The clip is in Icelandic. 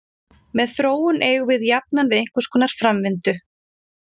Með þróun eigum við jafnan við einhverskonar framvindu.